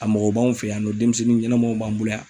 A mɔgɔ b'anw fɛ yan nɔ denmisɛnnin ɲɛnɛmanw b'an bolo yan